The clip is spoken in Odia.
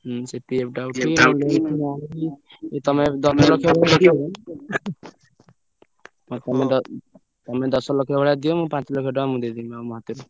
ହୁଁ ସେ PF ଟା ଉଠେଇ ତମେ ଦଶ ଲକ୍ଷକୁ ଆଉ ତମେ ତମେ ଦଶ ଲକ୍ଷ ଭଳିଆ ଦିଅ ମୁଁ ପାଞ୍ଚ ଲକ୍ଷ ଟଙ୍କା ମୁଁ ଦେଇଦେବି ମୋ ପଇସା।